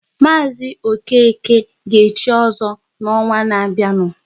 Mazi Okeke ga echi ozo n'ọnwa ná-bịanụ